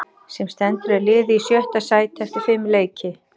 Sem stendur er liðið í sjötta sæti eftir fimm leiki.